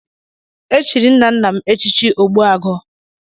E chiri nna nna m echichi Ogbuagụ.